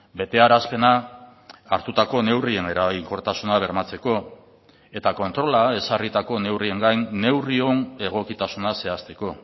betearazpena hartutako neurrien eraginkortasuna bermatzeko eta kontrola ezarritako neurrien gain neurrion egokitasuna zehazteko